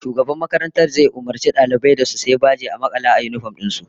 Shugaban makarantar zai umurci daliban su sayi bajen da za'a makala a yinifom din su